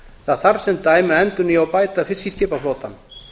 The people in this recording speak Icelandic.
það þarf sem dæmi að endurnýja og bæta fiskiskipaflotann